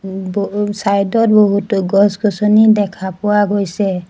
ও ও ব চাইড ত বহুতো গছ গছনি দেখা পোৱা গৈছে।